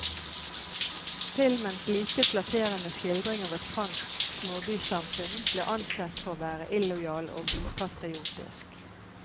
Filmens lite flatterende skildring av et fransk småbysamfunn ble ansett for å være illojal og upatriotisk.